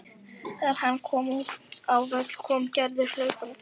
Þegar hann kom út á völl kom Gerður hlaupandi.